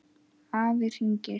Afi hringir